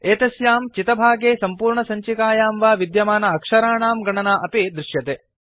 एतस्यां चितभागे सम्पूर्णसञ्चिकायां वा विद्यमान अक्षराणां गणना अपि दृश्यते